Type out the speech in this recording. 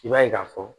I b'a ye k'a fɔ